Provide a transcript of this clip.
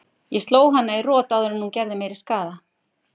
Ég sló hana í rot áður en hún gerði meiri skaða.